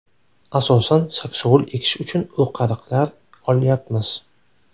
Asosan saksovul ekish uchun o‘qariqlar olyapmiz.